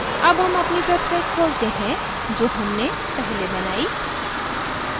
अब हम अपनी website खोलते हैं जो हमने पहले बनाई